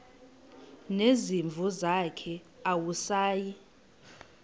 nezimvu zakhe awusayi